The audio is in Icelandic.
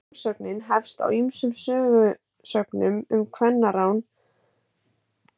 Frásögnin hefst á ýmsum sögusögnum um kvennarán og ásakanir á víxl.